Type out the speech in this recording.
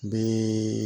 Bi